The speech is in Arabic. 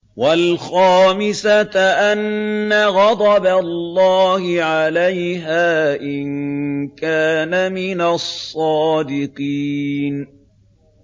وَالْخَامِسَةَ أَنَّ غَضَبَ اللَّهِ عَلَيْهَا إِن كَانَ مِنَ الصَّادِقِينَ